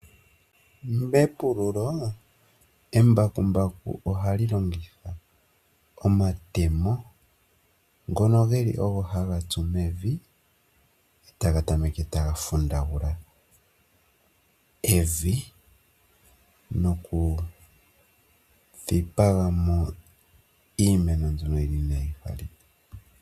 Mepululo embakumbaku ohali longitha omatemo ngono geli ogo haga tsu mevi etaga tameke taga fundagula evi nokukuthamo iimeno mbyono inaayi pumbiwa.